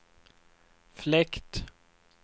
fläkt